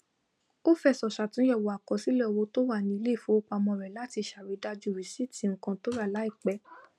ó fẹsọ sàtúnyẹwò àkọsílẹ owó tó wà ní iléìfowópamọ rẹ láti sàridájú rìsíìtì nkán tórà láìpẹ